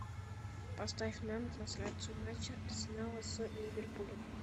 поставь нам трансляцию матча арсенала с ливерпулем